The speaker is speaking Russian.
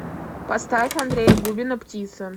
поставь андрея губина птица